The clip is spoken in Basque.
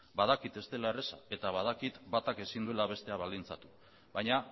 badakit ez dela erreza eta badakit batak ezin duela bestea baldintzatu baina